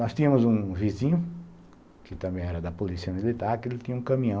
Nós tínhamos um vizinho, que também era da polícia militar, que ele tinha um caminhão.